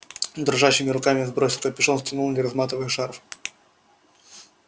дрожащими руками сбросил капюшон стянул не разматывая шарф